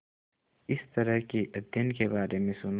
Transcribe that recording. इस तरह के अध्ययन के बारे में सुना था